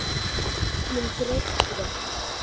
Öllum greftri